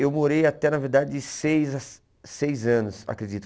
Eu morei até, na verdade, de seis a seis anos, acredito.